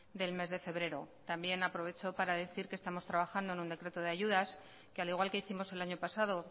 del mes de febrero también aprovecho para decir que estamos trabajando en un decreto de ayudas que al igual que hicimos el año pasado